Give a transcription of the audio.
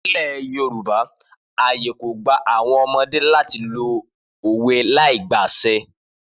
Nílẹ̀ Yorùbá ààyè kò gba àwọn ọmọdé láti lo òwe láìgba àṣẹ.